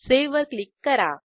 save वर click करा